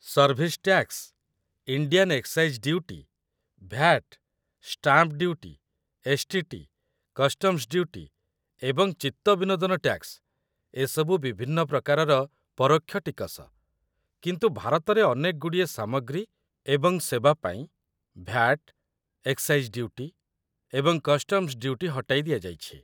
Service tax, Indian excise duty, VAT, stamp duty, STT., customs duty, ଏବଂ ଚିତ୍ତବିନୋଦନ tax ଏସବୁ ବିଭିନ୍ନ ପ୍ରକାରର ପରୋକ୍ଷ ଟିକସ, କିନ୍ତୁ ଭାରତରେ ଅନେକଗୁଡ଼ିଏ ସାମଗ୍ରୀ ଏବଂ ସେବା ପାଇଁ ଭ୍ୟାଟ୍, ଏକ୍‌ସାଇଜ୍‌ ଡ୍ୟୁଟି ଏବଂ କଷ୍ଟମ୍‌ସ୍‌ ଡ୍ୟୁଟି ହଟାଇ ଦିଆଯାଇଛି ।